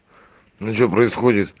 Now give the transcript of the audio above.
ну что происходит